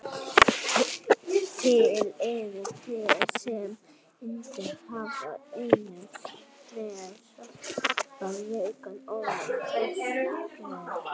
Til eru te sem innihalda efni með svipaða verkan og þvagræsilyf.